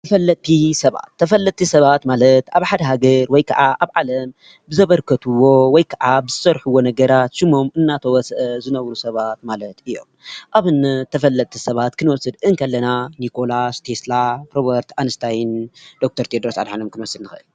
ተፈለጥቲ ሰባት ተፈለጥቲ ሰባት ማለት ኣብ ሓደ ሃገር ወይከዓ ኣብ ዓለም ብዘበርከትዎ ወይ ከዓ ብዝሰርሕዎ ነገራት ሽሞም እናተወስአ ዝነብሩ ሰባት ማለት እዮም። ኣብነት ተፈለጥቲ ሰባት ክንወስድ ከለና ኒኮላስ፣ ቴሰላ፣ ሮቨርት አንስታይን ዶክተር ቴድሮስ ኣድሓኖምን ክንወስድ ንኽእል።